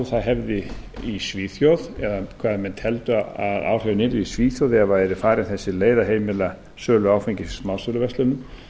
það hefði í svíþjóð eða hvað menn teldu að áhrifin yrðu í svíþjóð ef yrði farin þessi leið að heimila sölu áfengis í smásöluverslunum